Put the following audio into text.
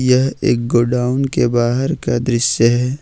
यह एक गोडाउन के बाहर का दृश्य है।